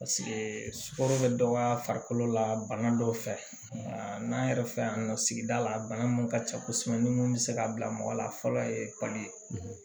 sukoro bɛ dɔgɔya farikolo la bana dɔw fɛ n'an yɛrɛ fɛ yan nɔ sigida la bana min ka ca kosɛbɛ ni mun bɛ se ka bila mɔgɔ la fɔlɔ ye